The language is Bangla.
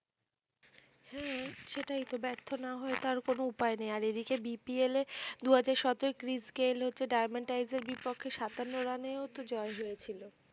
হম সেটাইতো বার্থ না হয়ে তার কোনও উপায় নেই আর এদিকে BPL এ দুহাজার সতেরো ক্রিস গেইল হচ্ছে ডায়মন্ড তাইসের বিপক্ষে সাতান্ন রানেও জয় জয় ছিল